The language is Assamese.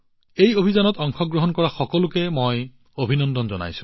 এই অভিযানত অংশগ্ৰহণ কৰা সকলোকে মই অভিনন্দন জনাইছো